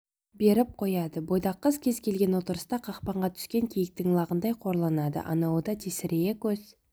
беріп қояды бойдақ қыз кез-келген отырыста қақпанға түскен киіктің лағындай қорланады анауы да тесірейе көз